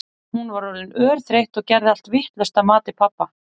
Hún var orðin örþreytt og gerði allt vitlaust að mati pabba.